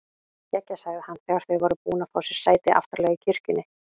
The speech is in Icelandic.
Geggjað sagði hann þegar þau voru búin að fá sér sæti aftarlega í kirkjunni.